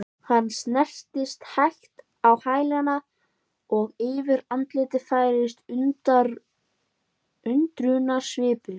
Hann snerist hægt á hæli og yfir andlitið færðist undrunarsvipur.